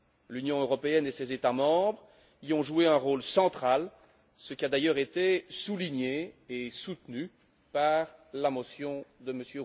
L'Union européenne et ses États membres y ont joué un rôle central, ce qui a d'ailleurs été souligné et soutenu par la motion de M.